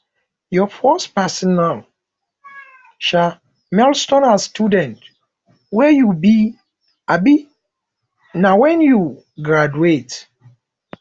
your first personal um milestone as student wey you be um na wen you graduate